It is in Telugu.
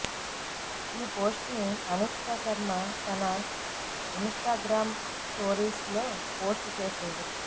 ఈ పోస్ట్ ని అనుష్క శర్మ తన ఇన్ స్టా గ్రామ్ స్టోరీస్ లో పోస్ట్ చేసింది